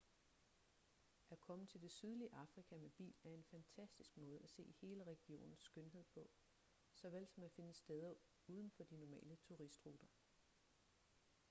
at komme til det sydlige afrika med bil er en fantastisk måde at se hele regionens skønhed på såvel som at finde steder udenfor de normale turistruter